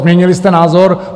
Změnili jste názor?